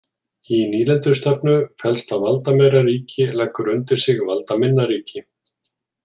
Í nýlendustefnu felst að valdameira ríki leggur undir sig valdaminna ríki.